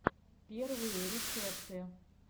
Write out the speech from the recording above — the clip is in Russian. первые рецепты